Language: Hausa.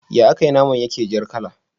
Ya akai naman yake jar kala